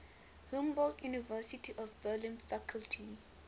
humboldt university of berlin faculty